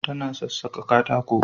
Tana sassaƙa katako